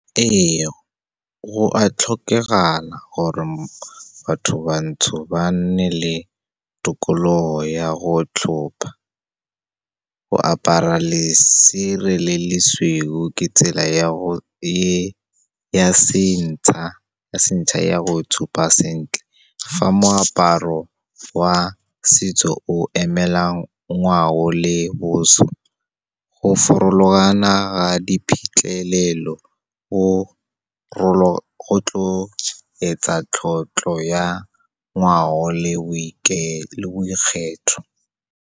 Ee, go a tlhokegala gore batho bantsho ba nne le tokologo ya go tlhopa. Go apara lesire le lesweu ke tsela e ya sentšha ya go itshupa sentle. Fa moaparo wa setso o emelang ngwao le boswa, go farologana ka diphitlhelelo go tlo etsa tlotlo ya ngwao le boikgetho.